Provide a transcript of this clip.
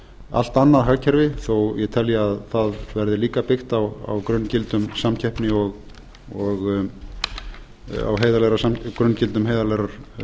allt annað hagkerfi þó ég telji að það verði líka byggt á grunngildum heiðarlegrar